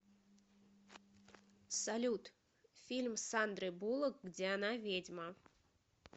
салют фильм с сандрой буллок где она ведьма